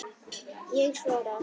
Ég svara.